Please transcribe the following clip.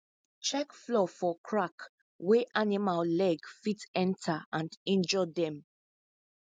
check floor for crack wey animal leg fit enter and injure dem